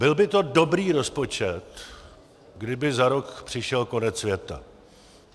Byl by to dobrý rozpočet, kdyby za rok přišel konec světa.